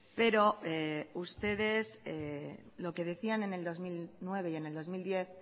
pero ustedes lo que decían en el dos mil nueve y en el dos mil diez